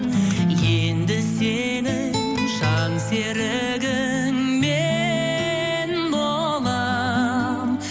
енді сенің жан серігің мен болам